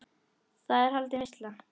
Þar er haldin veisla.